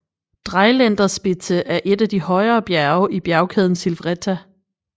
Dreiländerspitze er et af de højere bjerge i bjergkæden Silvretta